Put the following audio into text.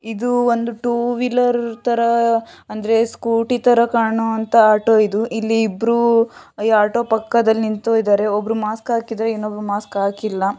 ಇದು ಒಂದು two wheeler ತರ ಅಂದ್ರೆ ಸ್ಕೂಟಿ ತರ ಕಾಣುವಂತಹ ಆಟೋ ಇದು ಇಲ್ಲಿ ಇಬ್ಬರು ಈ ಆಟೋ ಪಕ್ಕದಲ್ಲಿ ನಿಂತಿದ್ದಾರೆ ಒಬ್ರು ಮಾಸ್ಕ್ ಹಾಕಿದ್ದಾರೆ ಇನ್ನೊಬ್ರು ಮಾಸ್ಕ್ ಹಾಕಿಲ್ಲ.